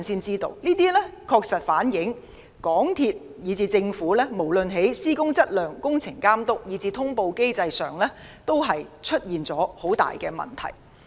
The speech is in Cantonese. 這些確實反映港鐵公司和政府，無論在施工質量、工程監督，以及通報機制上，均有缺失。